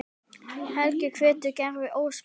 Helgi hvetur Gerði óspart.